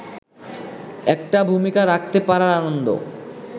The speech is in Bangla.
একটা ভুমিকা রাখতে পারার আনন্দ